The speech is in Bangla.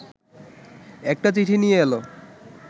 একটা চিঠি নিয়ে এল